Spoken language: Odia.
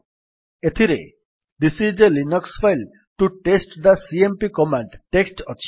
ଏଥିରେ this is a Linux file to test the CMP command text ଅଛି